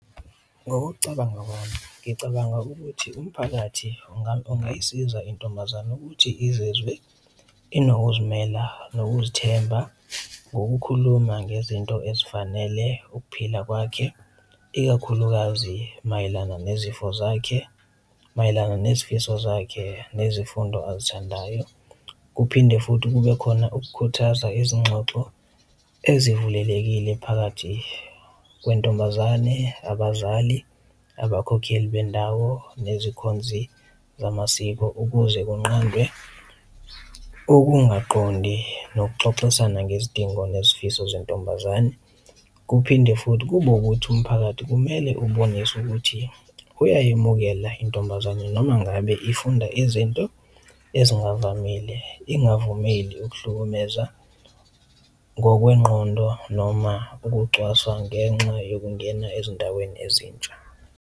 Ngokucabanga kwami, ngicabanga ukuthi umphakathi ungayisiza intombazane ukuthi izizwe inokuzimela nokuzithemba ngokukhuluma ngezinto ezifanele ukuphila kwakhe, ikakhulukazi mayelana nezifo zakhe, mayelana nezifiso zakhe, nezifundo azithandayo. Kuphinde futhi kube khona ukukhuthaza izinxoxo ezivulekile phakathi kwentombazane, abazali, abakhokheli bendawo, nezikhonzi zamasiko ukuze kunqandwe ukungaqondi nokuxoxisana ngezidingo nezifiso zentombazane. Kuphinde futhi kube ukuthi umphakathi kumele ubonise ukuthi uyayemukela intombazane noma ngabe ifunda izinto ezingavamile, ingavumeli ukuhlukumeza ngokwengqondo noma ukucwaswa ngenxa yokungena ezindaweni ezintsha.